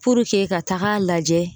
ka tag'a lajɛ